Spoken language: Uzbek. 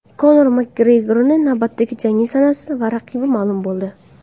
Konor Makgregorning navbatdagi jangi sanasi va raqibi ma’lum bo‘ldi.